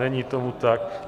Není tomu tak.